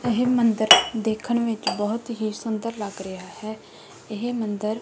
ਇਹ ਮੰਦਰ ਦੇਖਣ ਵਿੱਚ ਬਹੁਤ ਹੀ ਸੁੰਦਰ ਲੱਗ ਰਿਹਾ ਹੈ ਇਹ ਮੰਦਰ--